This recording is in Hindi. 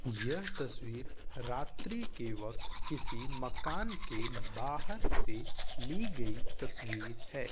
यह तस्वीर रात्रि के वक्त किसी मकान के बहार से ली गई तस्वीर है।